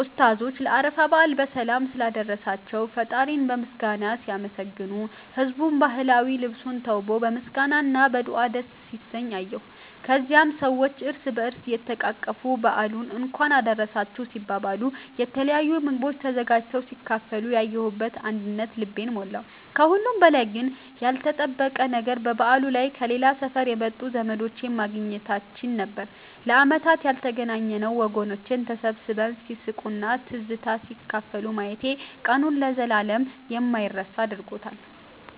ኡስታዞቹ ለአረፋ በዓል በሰላም ስላደረሳቸው ፈጣሪን በምስጋና ሲያመሰግኑ፣ ህዝቡም በባህላዊ ልብስ ተውቦ በምስጋና እና በዱዓ ደስ ሲሰኝ አየሁ። ከዚያም ሰዎች እርስ በእርስ እየተቃቀፉ በዓሉን እንኳን አደረሳችሁ ሲባባሉ፣ የተለያዩ ምግቦች ተዘጋጅተው ሲካፈሉ ያየሁት አንድነት ልቤን ሞላው። ከሁሉም በላይ ግን ያልተጠበቀው ነገር በበዓሉ ላይ ከሌላ ሰፈር የመጡ ዘመዶቼን ማግኘታችን ነበር፤ ለዓመታት ያልተገናኘነው ወገኖቼን ተሰባስበው ሲስቁና ትዝታ ሲካፈሉ ማየቴ ቀኑን ለዘላለም የማይረሳ አድርጎታል።